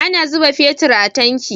Ana zuba fetir a tanki